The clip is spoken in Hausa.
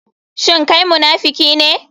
Shin kai munafiki ne?